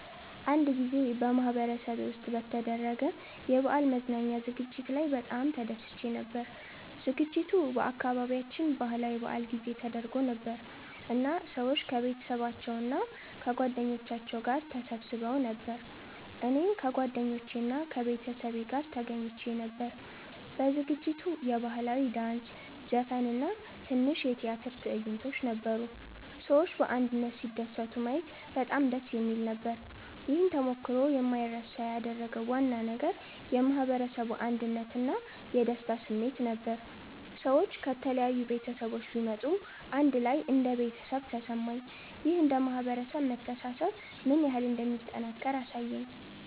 አንድ ጊዜ በማህበረሰቤ ውስጥ በተደረገ የበዓል መዝናኛ ዝግጅት ላይ በጣም ተደስቼ ነበር። ዝግጅቱ በአካባቢያችን ባህላዊ በዓል ጊዜ ተደርጎ ነበር እና ሰዎች ከቤተሰባቸው እና ከጓደኞቻቸው ጋር ተሰብስበው ነበር። እኔም ከጓደኞቼ እና ከቤተሰቤ ጋር ተገኝቼ ነበር። በዝግጅቱ የባህላዊ ዳንስ፣ ዘፈን እና ትንሽ የቲያትር ትዕይንቶች ነበሩ። ሰዎች በአንድነት ሲደሰቱ ማየት በጣም ደስ የሚል ነበር። ይህን ተሞክሮ የማይረሳ ያደረገው ዋና ነገር የማህበረሰቡ አንድነት እና የደስታ ስሜት ነበር። ሰዎች ከተለያዩ ቤተሰቦች ቢመጡም አንድ ላይ እንደ ቤተሰብ ተሰማኝ። ይህ እንደ ማህበረሰብ መተሳሰብ ምን ያህል እንደሚጠናከር አሳየኝ።